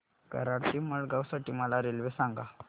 कराड ते मडगाव साठी मला रेल्वे सांगा